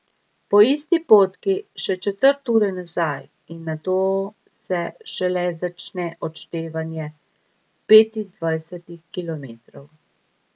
Po isti potki še četrt ure nazaj in nato se šele začne odštevanje petindvajsetih kilometrov.